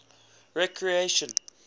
recreation